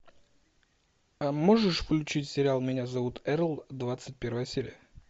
а можешь включить сериал меня зовут эрл двадцать первая серия